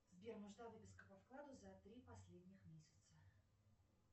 сбер нужна выписка по вкладу за три последних месяца